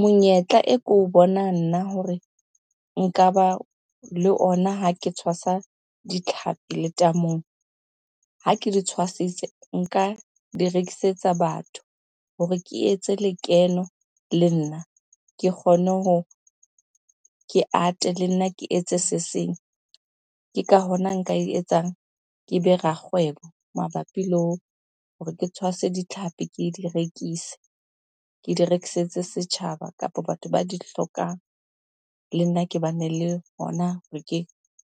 Monyetla e ke o bonang nna hore nka ba le ona ha ke tshwasa ditlhapi letamong. Ha ke di tshwasitse nka di rekisetsa batho hore ke etse lekeno le nna ke kgone ho, ke ate le nna ke etse se seng. Ke ka hona nka e etsang kebe rakgwebo mabapi le hore ke tshwase ditlhapi ke di rekise, ke di rekisetse setjhaba kapa batho ba di hlokang. Le nna ke bane le hona re ke